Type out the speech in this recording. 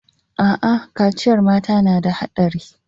Aa, kaciyar mata na da haɗari